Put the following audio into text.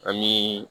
Ani